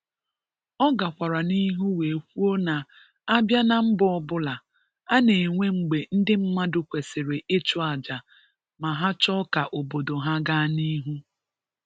Ọ gakwara n'ihu wee kwuo na abịa na mba ọbụla, a na-enwe mgbe ndị mmadụ kwesiri ịchụ aja ma ha chọ ka obodo ga n'ihu.